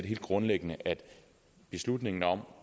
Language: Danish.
helt grundlæggende at beslutningen om